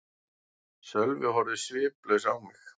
Sölvi horfði sviplaus á mig.